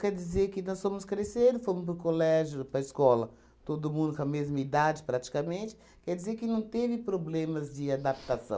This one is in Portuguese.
Quer dizer que nós fomos crescendo, fomos para o colégio, para a escola, todo mundo com a mesma idade praticamente, quer dizer que não teve problemas de adaptação.